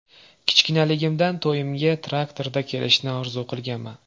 Kichkinaligimdan to‘yimga traktorda kelishni orzu qilganman.